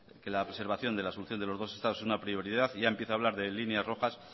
que la preservación de la solución de los dos estados es una prioridad y ya empieza a hablar de líneas rojas